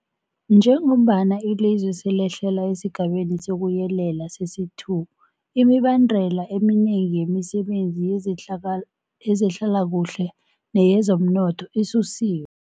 Njengombana ilizwe lehlela esiGabeni sokuYelela sesi-2, imibandela eminengi yemisebenzi yezehlalakuhle neyezomnotho isusiwe.